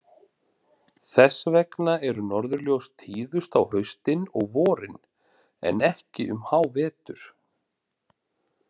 Þess vegna eru norðurljós tíðust á haustin og vorin, en ekki um hávetur.